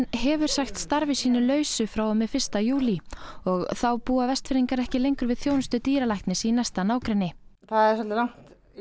hefur sagt starfi sínu lausu frá og með fyrsta júlí og þá búa Vestfirðingar ekki lengur við þjónustu dýralæknis í næsta nágrenni það er svolítið langt í